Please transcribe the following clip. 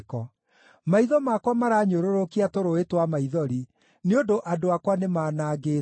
Maitho makwa maranyũrũrũkia tũrũũĩ twa maithori nĩ ũndũ andũ akwa nĩmanangĩtwo.